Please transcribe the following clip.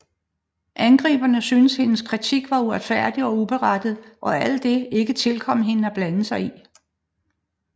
Angriberne syntes hendes kritik var uretfærdig og uberettiget og at det ikke tilkom hende at blande sig